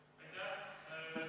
Aitäh!